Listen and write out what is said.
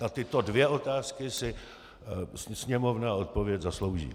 Na tyto dvě otázky si Sněmovna odpověď zaslouží.